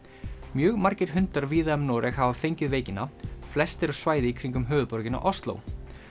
mjög margir hundar víða um Noreg hafa fengið veikina flestir á svæði í kringum höfuðborgina Osló